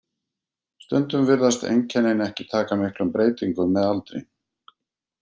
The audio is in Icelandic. Stundum virðast einkennin ekki taka miklum breytingum með aldri.